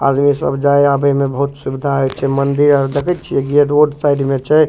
आदमी सब जाय आबे में बहुत सुविधा होय छै मंदिर आर देखे छीये जे रोड साइड में छै।